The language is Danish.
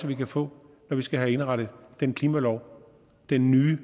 vi kan få når vi skal have indrettet den klimalov den nye